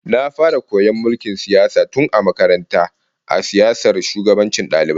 Na fara koyon mulkin siyasa tun a makaranta a siyasar shugabancin dalibai